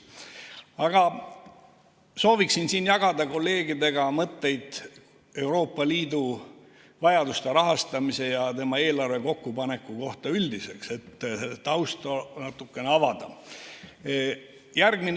Aga sooviksin siin jagada kolleegidega mõtteid Euroopa Liidu vajaduste rahastamise ja tema eelarve kokkupaneku kohta üldiselt, et natukene tausta avada.